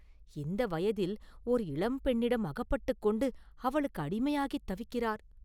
இந்த வயதில் ஓர் இளம்பெண்ணிடம் அகப்பட்டுக் கொண்டு அவளுக்கு அடிமையாகித் தவிக்கிறார்!